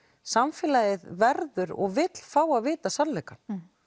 samfélagið verður og vill fá að vita sannleikann